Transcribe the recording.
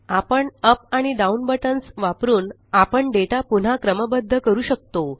आपण अप आणि down buttons वापरुन आपण डेटा पुन्हा क्रमबद्ध करू शकतो